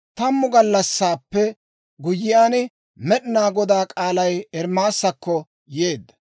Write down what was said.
Tammu gallassaappe guyyiyaan, Med'inaa Godaa k'aalay Ermaasakko yeedda.